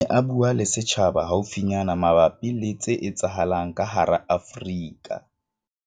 Ha a ne a bua le setjhaba haufinyana mabapi le tse etsahalang ka hara Afrika